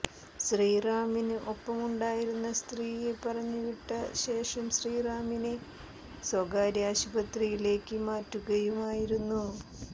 ശ്രീറാമിന് ഒപ്പമുണ്ടായിരുന്ന സ്ത്രീയെ പറഞ്ഞുവിട്ട ശേഷം ശ്രീറാമിനെ സ്വകാര്യ ആശുപത്രിയിലേക്ക് മാറ്റുകയുമായിരുന്നു